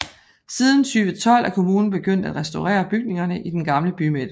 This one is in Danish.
Siden 2012 er kommunen begyndt at restaurere bygningerne i den gamle bymidte